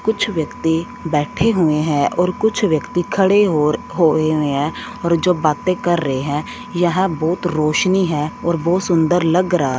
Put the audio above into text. कुछ व्यक्ति बैठे हुए हैं और कुछ व्यक्ति खड़े और होय हुए हैं और जो बातें कर रहे हैं यहां बहोत रोशनी है और बहोत सुंदर लग रहा --